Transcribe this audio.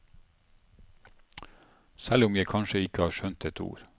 Selv om jeg kanskje ikke har skjønt et ord.